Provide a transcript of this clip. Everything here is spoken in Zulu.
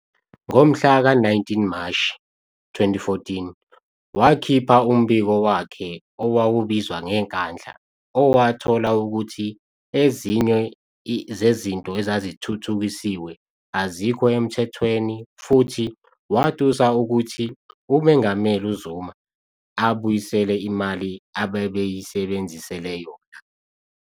Ngomhlaka 19 Mashi 2014, wakhipha umbiko wakhe owawubizwa ngeNkandla, owathola ukuthi ezinye zezinto ezazithuthukisiwe azikho emthethweni futhi watusa ukuthi uMengameli uZuma abuyisele imali ababeyisebenzisela yona.